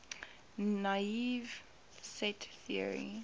naive set theory